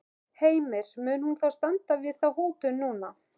Heimir, mun hún þá standa við þá hótun núna?